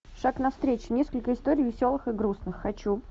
шаг навстречу несколько историй веселых и грустных хочу